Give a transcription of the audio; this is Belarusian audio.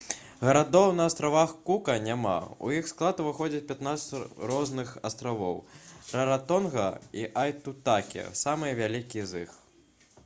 гарадоў на астравах кука няма у іх склад уваходзяць 15 розных астравоў раратонга і айтутакі самыя вялікія з іх